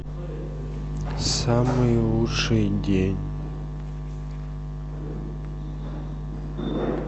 самый лучший день